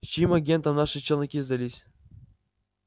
чьим агентам наши челноки сдались